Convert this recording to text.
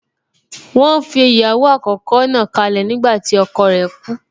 Wọ́n fi ìyàwó àkọ́kọ́ náà kálẹ̀ nígbàtí ọkọ rẹ̀ kú